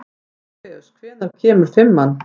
Orfeus, hvenær kemur fimman?